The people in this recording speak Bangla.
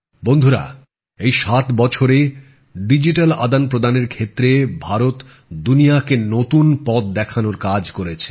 বন্ধুরা এই ৭ বছরে ডিজিটাল আদান প্রদানের ক্ষেত্রে ভারত দুনিয়া কে নতুন পথ দেখানোর কাজ করেছে